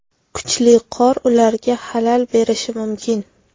Kuchli qor ularga xalal berishi mumkin.